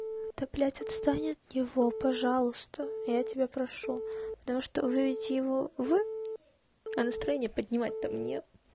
да блядь отстань от него пожалуйста я тебя прошу потому что выведите его вы а настроение поднимать то мне